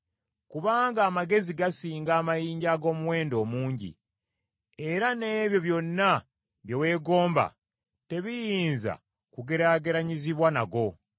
kubanga amagezi gasinga amayinja ag’omuwendo omungi, era n’ebyo byonna bye weegomba tebiyinza kugeraageranyizibwa nago.